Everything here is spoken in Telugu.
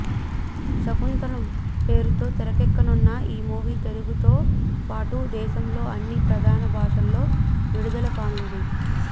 శాకుంతలం పేరుతో తెరకెక్కనున్న ఈ మూవీ తెలుగుతో పాటు దేశంలోని అన్ని ప్రధాన భాషలలో విడుదల కానుంది